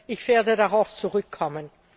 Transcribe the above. Ich werde darauf zurückkommen.